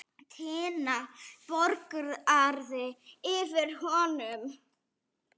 Tinna bograði yfir honum.